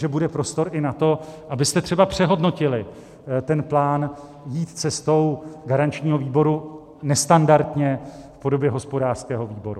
Že bude prostor i na to, abyste třeba přehodnotili ten plán jít cestou garančního výboru nestandardně v podobě hospodářského výboru.